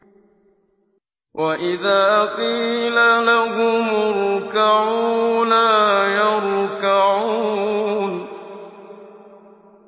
وَإِذَا قِيلَ لَهُمُ ارْكَعُوا لَا يَرْكَعُونَ